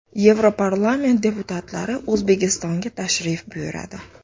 Yevroparlament deputatlari O‘zbekistonga tashrif buyuradi.